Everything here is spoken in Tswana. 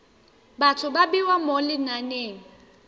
batho ba bewa mo lenaneng